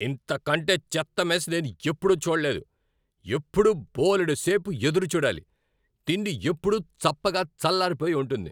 ఇంతకంటే చెత్త మెస్ నేనెప్పుడూ చూడలేదు. ఎప్పుడూ బోలెడు సేపు ఎదురు చూడాలి, తిండి ఎప్పుడూ చప్పగా చల్లారిపోయి ఉంటుంది.